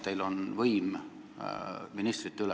–, teil on võim ministrite üle.